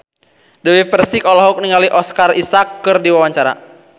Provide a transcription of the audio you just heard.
Dewi Persik olohok ningali Oscar Isaac keur diwawancara